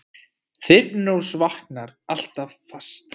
Þyrnirós vaknar alltaf aftur